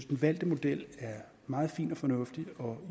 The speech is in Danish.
den valgte model er meget fin og fornuftig og